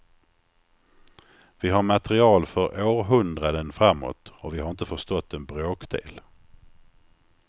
Vi har material för århundraden framåt och vi har inte förstått en bråkdel.